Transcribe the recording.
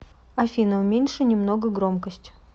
афина уменьши немного громкость